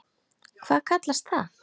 Hvað kallast það?